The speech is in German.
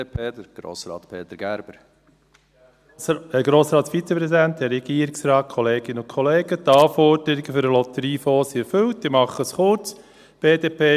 Die Anforderungen für den Lotteriefonds sind erfüllt, ich mache es kurz: